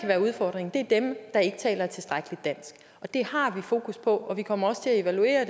være udfordringen er dem der ikke taler et tilstrækkeligt dansk det har vi fokus på og vi kommer til at evaluere